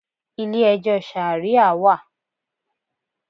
Ilé ẹjọ́ Ṣàríà wà.